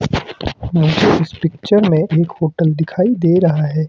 मुझे इस पिक्चर में एक होटल दिखाई दे रहा है।